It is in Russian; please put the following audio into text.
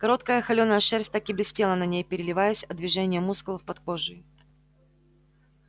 короткая холёная шерсть так и блестела на ней переливаясь от движения мускулов под кожей